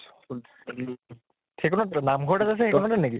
সেইকণত নাম্ঘৰ এটা আছে , সেইকণেই নেকি ?